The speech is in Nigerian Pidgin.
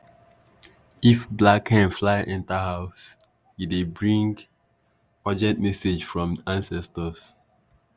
if black hen fly enter house e dey bring urgent message from ancestors.